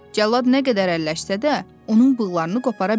Cəllad nə qədər əlləşsə də, onun bığlarını qopara bilmədi.